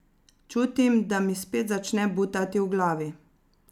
Čutim, da mi spet začne butati v glavi.